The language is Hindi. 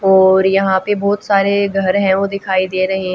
और यहां पे बहुत सारे घर है वो दिखाई दे रहे--